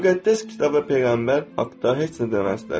Müqəddəs kitab və peyğəmbər haqda heç nə deməzlər.